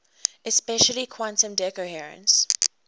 especially quantum decoherence